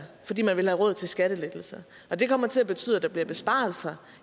fordi man vil have råd til skattelettelser og det kommer til at betyde at der bliver besparelser